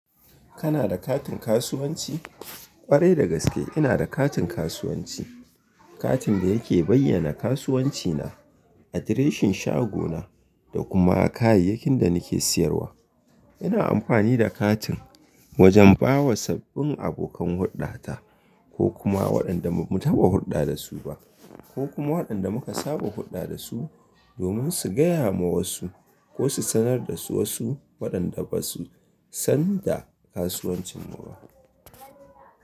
Kana da katin kasuwanci? Kwarai dagaske ina da katin kasuwanci, katin da yake bayyana kasuwanci na, adireshin shago na da kuma kayayyakin da nake siyarwa. Ina amfani da katin wajen bawa sabbin abokan hurda ta ko kuma waɗanda bamu taɓa hurɗa dasu ba ko kuma waɗanda muka saba hurɗa dasu domin su gaya ma wasu ko su sanar da su wasu waɗanda basu san da kasuwancin mu ba.